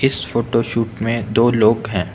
इस photo shoot में दो लोग हैं।